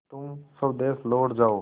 तुम स्वदेश लौट जाओ